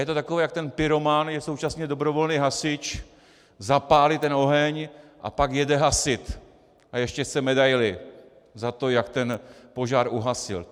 Je to takové, jak ten pyroman je současně dobrovolný hasič, zapálí ten oheň a pak jede hasit a ještě chce medaili za to, jak ten požár uhasil.